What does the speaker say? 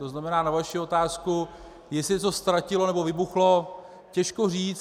To znamená, na vaši otázku, jestli se něco ztratilo nebo vybuchlo - těžko říct.